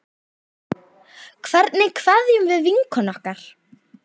Hvernig kveðjum við vinkonu okkar?